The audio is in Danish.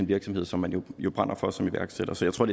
virksomhed som de jo brænder for som iværksættere så jeg tror